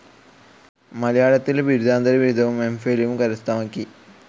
മലയാളത്തിൽ ബിരുദാന്തരബിരുദവും എംഫിലും കരസ്ഥമാക്കി.